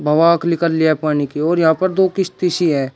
निकल लिया पानी की ओर यहां पर दो किश्ती सी हैं।